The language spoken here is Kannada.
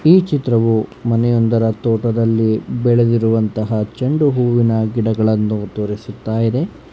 ಈ ಚಿತ್ರವು ಮನೆಯೊಂದರ ತೋಟದಲ್ಲಿ ಬೆಳೆದಿರುವಂತಹ ಚೆಂಡು ಹೂವಿನ ಗಿಡಗಳನ್ನು ತೋರಿಸುತ್ತ ಇದೆ.